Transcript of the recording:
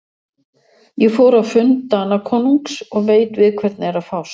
Ég fór á fund Danakonungs og veit við hvern er að fást.